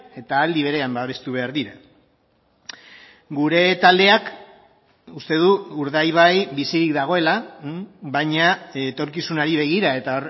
eta aldi berean babestu behar dira gure taldeak uste du urdaibai bizirik dagoela baina etorkizunari begira eta